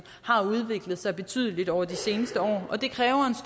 har udviklet sig betydeligt over de seneste år og det kræver